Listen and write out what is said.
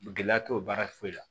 Gɛlɛya t'o baara foyi la